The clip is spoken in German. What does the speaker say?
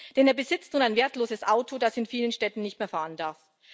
Denn er besitzt nun ein wertloses Auto, das in vielen Städten nicht mehr fahren darf.